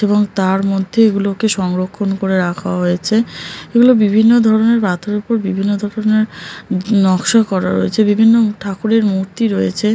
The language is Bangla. এবং তার মধ্যে এগুলোকে সংরক্ষণ করে রাখা হয়েছে এগুলো বিভিন্ন ধরনের পাথর উপর বিভিন্ন ধরনের ই নকশা করা রয়েছে। বিভিন্ন ঠাকুরের মূর্তি রয়েছে।